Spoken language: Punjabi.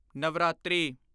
ਨਵਰਾਤਰੀ